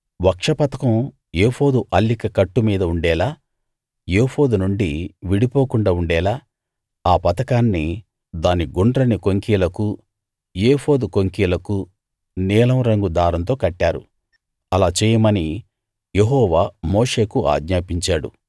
వక్షపతకం ఏఫోదు అల్లిక కట్టు మీద ఉండేలా ఏఫోదు నుండి విడిపోకుండా ఉండేలా ఆ పతకాన్ని దాని గుండ్రని కొంకీలకూ ఏఫోదు కొంకీలకూ నీలం రంగు దారంతో కట్టారు అలా చేయమని యెహోవా మోషేకు ఆజ్ఞాపించాడు